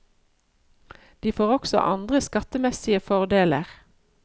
De får også andre skattemessige fordeler.